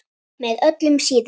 Með öllum síðunum?